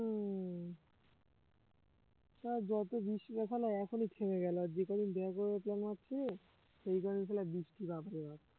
সব যত বৃষ্টিরা শালা এখনই থেমে গেলো আর যেই কয়দিন দেখা করার plan মারছি সেই কয়দিন শালা বৃষ্টি বাপরে বাপ